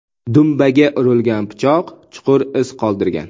Dumbaga urilgan pichoq chuqur iz qoldirgan.